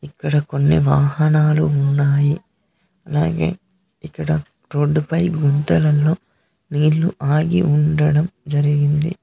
కడ కొన్ని వాహనాలు ఉన్నాయి అలాగే ఇక్కడ రోడ్డుపై గుంతలలో నీళ్లు ఆగి ఉండడం జరిగింది.